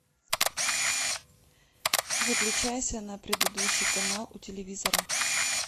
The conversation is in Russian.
выключайся на предыдущий канал у телевизора